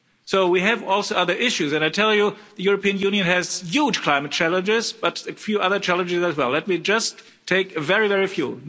So we also have other issues and I'll tell you the European Union has huge climate challenges, but a few other challenges as well. Let me just take very, very few.